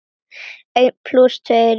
Einn plús tveir eru þrír.